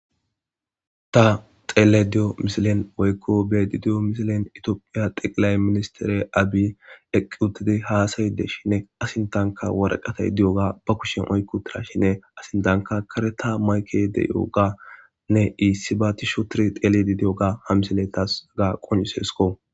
Ta xeele diyo misilen woykko bedidiyo misilen itiophiya xiqilay ministere abi eqqi uttidi haasayi des shinne asintanka woreqatay di7oga ba kushen oykko tira shinne asintanka kareta mayke deyoganne iissi baatisho tiri xeeledi di7oga ha misile tas hega qoncissesikko.